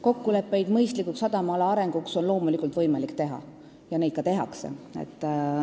Kokkuleppeid mõistlikuks sadamaala arendamiseks on loomulikult võimalik teha ja neid ka tehakse.